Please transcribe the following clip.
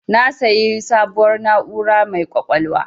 Na siya sabuwar na'ura mai ƙwaƙwalwa